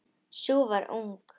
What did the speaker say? Sú var ung!